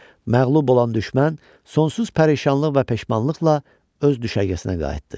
Məğlub olan düşmən sonsuz pərişanlıq və peşmanlıqla öz düşərgəsinə qayıtdı.